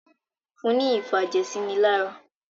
Fún ní ìfàjẹ̀sínilára!